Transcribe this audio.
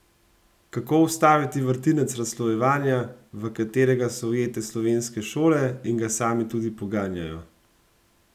Kako ustaviti vrtinec razslojevanja, v katerega so ujete slovenske šole in ga same tudi poganjajo?